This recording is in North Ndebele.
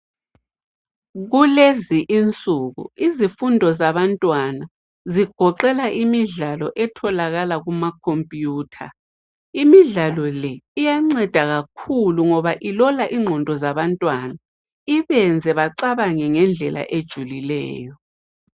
Kulezi insuku izifundo zabantwana zigoqela imidlalo etholakala kumakhompiyutha. Imidlalo le iyanceda kakhulu ngoba ilola ingqondo zabantwana, ibenze bacabange ngendlela ejulileyo.